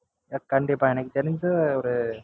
கண்டிப்பா எனக்கு தெரிஞ்சு ஒரு